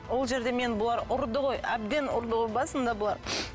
ол жерде мені бұлар ұрды ғой әбден ұрды ғой басында бұлар